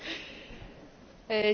Panie Przewodniczący!